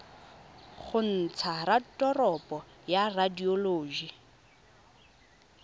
go ntsha raporoto ya radioloji